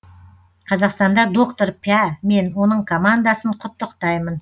қазақстанда доктор пя мен оның командасын құттықтаймын